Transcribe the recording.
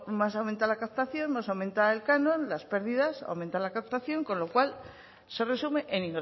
más aumenta la captación más aumenta el canon las pérdidas aumentan la captación con lo cual se resume en